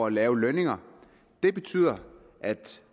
lave lønninger og det betyder at